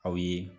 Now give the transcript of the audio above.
Aw ye